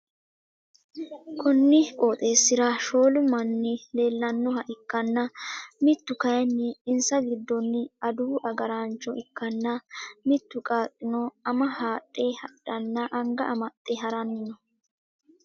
konni qooxeessira shoolu manni leellannoha ikkanna, mittu kayiinni insa giddoonni adawu agaraancho ikkanna, mittu qaaqqino ama hadhe hadhanna anga amaxxe ha'ranni no.